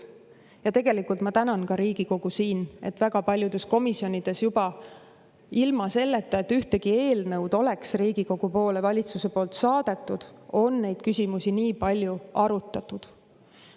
Ja tegelikult ma tänan Riigikogu, et väga paljudes komisjonides juba ilma selleta, et ühtegi eelnõu oleks Riigikogu poole valitsusest saadetud, on neid küsimusi nii palju arutatud.